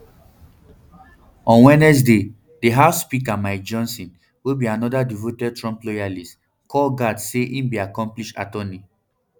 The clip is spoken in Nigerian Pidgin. on wednesday di house speaker mike johnson wey be anoda devoted trump loyalist call gaetz say e be accomplished attorney